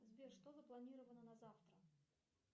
сбер что запланировано на завтра